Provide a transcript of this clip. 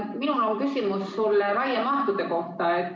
Minul on küsimus raiemahtude kohta.